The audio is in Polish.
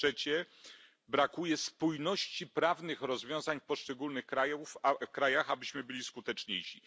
Po trzecie, brakuje spójności prawnych rozwiązań w poszczególnych krajach, abyśmy byli skuteczniejsi.